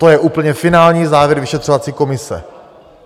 To je úplně finální závěr vyšetřovací komise.